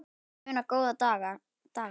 Ég vil muna góðu dagana.